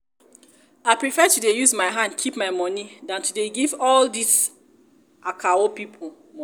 i prefer to dey use my hand keep my money than to dey give all dis akawo people money